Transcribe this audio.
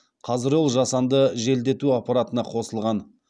қазір ол жасанды желдету аппаратына қосылған